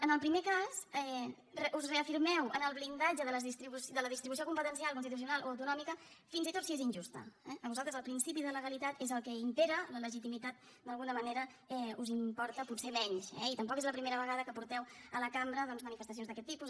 en el primer cas us reafirmeu en el blindatge de la distribució competencial constitucional o autonòmica fins i tot si és injusta eh per vosaltres el principi de legalitat és el que impera la legitimitat d’alguna manera us importa potser menys eh i tampoc és la primera vegada que porteu a la cambra doncs manifestacions d’aquest tipus